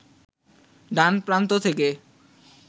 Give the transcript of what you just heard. ডান প্রান্ত থেকে